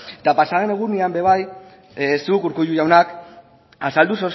eta pasaden egunean ere bai zu urkullu jauna azaldu